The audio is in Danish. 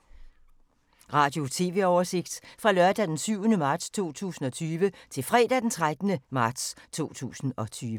Radio/TV oversigt fra lørdag d. 7. marts 2020 til fredag d. 13. marts 2020